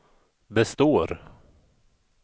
består